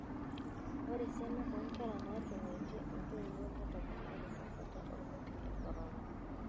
Ore esiana oo nkera naatunguatie ntoiwuo netoponari tenkata olmeitai le korona.